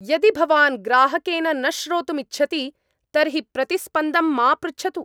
यदि भवान् ग्राहकेन न श्रोतुम् इच्छति तर्हि प्रतिस्पन्दं मा पृच्छतु।